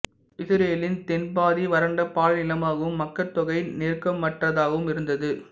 இசுரேலின் தென் பாதி வறண்ட பாலை நிலமாகவும் மக்கட்தொகை நெருக்கமற்றதாகவும் இருந்தது